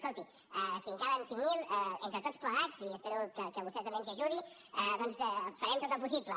escolti si en calen cinc mil entre tots plegats i espero que vostè també ens hi ajudi doncs farem tot el possible